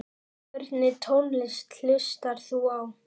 Hvernig tónlist hlustar þú á?